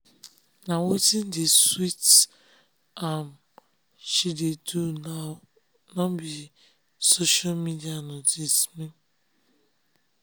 na wetin dey sweet am she dey do now nor be social media notice me